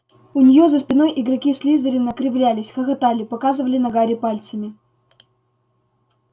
у неё за спиной игроки слизерина кривлялись хохотали показывали на гарри пальцами